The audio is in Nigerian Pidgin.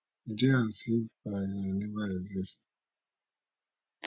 e dey as if i i never exist